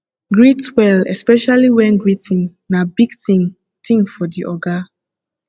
greet well especially when greeting na big thing thing for di oga